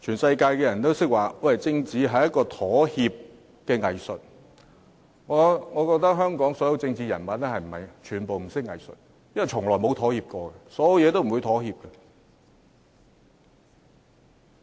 所有人都說政治是一種妥協的藝術，我覺得香港所有政治人物均不懂得藝術，因為從來沒有妥協，任何方面都不會妥協。